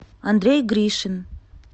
андрей гришин